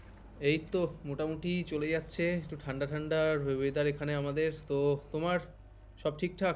এইতো মোটামুটি চলে যাচ্ছে, ঠান্ডা ঠান্ডা whether এখানে আমাদের তো তোমার সব ঠিকঠাক?